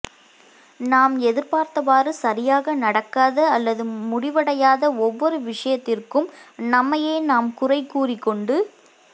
நாம் எதிர்பார்த்தவாறு சரியாக நடக்காத அல்லது முடிவடையாத ஒவ்வொரு விஷயத்திற்கும் நம்மையே நாம் குறை கூறிக்கொண்டு